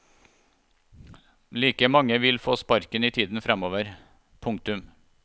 Like mange vil få sparken i tiden fremover. punktum